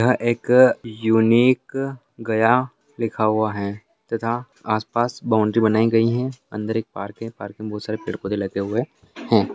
यह एक यूनिक गया लिखा हुआ है तथा आस-पास बाउंड्री बनाई गई है अंदर एक पार्क है पार्क में बहुत सारे पेड़ पौधे लगे हुए है।